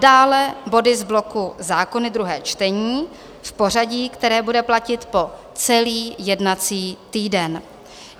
Dále body z bloku zákony druhé čtení v pořadí, které bude platit po celý jednací týden.